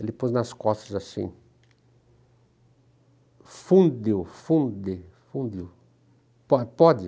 Ele pôs nas costas assim, fundiu, fundiu, fundiu, po pode?